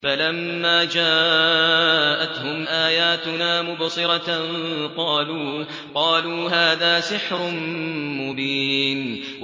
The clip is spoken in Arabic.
فَلَمَّا جَاءَتْهُمْ آيَاتُنَا مُبْصِرَةً قَالُوا هَٰذَا سِحْرٌ مُّبِينٌ